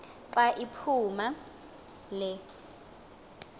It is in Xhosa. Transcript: xa iphumayo le